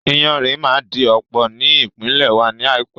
Iyanrìn máa di ọ̀pọ̀ ní ìpínlè wa ní àìpé